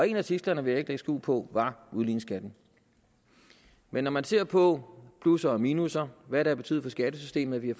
en af tidslerne vil jeg skjul på var udligningsskatten men når man ser på plusser og minusser hvad det har betydet for skattesystemet at vi har